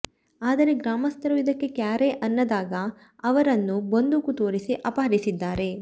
ಆದರೆ ಗ್ರಾಮಸ್ಥರು ಇದಕ್ಕೆ ಕ್ಯಾರೆ ಅನ್ನದಾಗ ಅವರನ್ನು ಬಂದೂಕು ತೋರಿಸಿ ಅಪಹರಿಸಿದ್ದಾರೆ